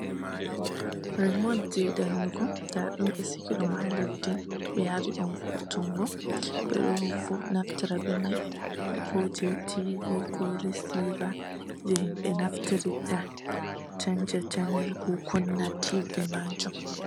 Remot je jangugo nda ɗum ɓe sigi ɗum ha leddi, ɓe yari ɗum voutungo, ɓe ɗo naftira be mai ko je tv, ko reciver, je himɓɓe naftirta sanja channel ko Kuna tv man.